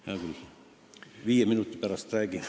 Hea küll, viie minuti pärast räägin.